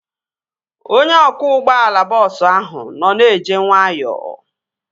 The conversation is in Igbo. Onye ọkwọ ụgbọala bọọsu ahụ nọ na-eje nwayọọ